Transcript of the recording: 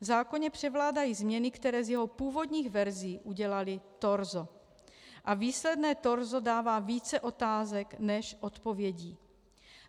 V zákoně převládají změny, které z jeho původních verzí udělaly torzo, a výsledné torzo dává více otázek než odpovědí.